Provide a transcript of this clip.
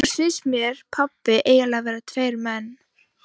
Annars finnst mér pabbi eiginlega vera tveir menn.